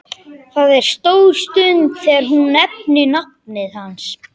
Það er stór stund þegar hún nefnir nafnið hans.